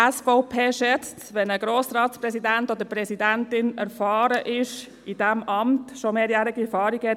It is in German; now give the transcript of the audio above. Die SVP schätzt es, wenn ein Grossratspräsident oder eine -präsidentin erfahren ist und über eine mehrjährige Erfahrung verfügt.